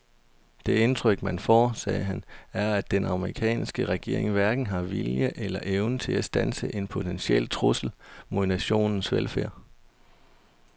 Det indtryk man får, sagde han, er at den amerikanske regering hverken har viljen eller evnen til at standse en potentiel trussel mod nationens velfærd.